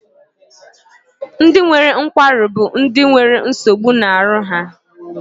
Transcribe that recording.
Ndị nwere nkwarụ bụ ndị na nwere nsogbu na aru ha.